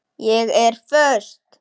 Ég er föst.